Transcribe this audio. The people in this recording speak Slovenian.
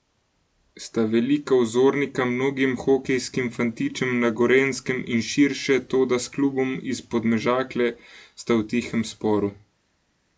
Sta velika vzornika mnogim hokejskim fantičem na Gorenjskem in širše, toda s klubom iz Podmežakle sta v tihem sporu.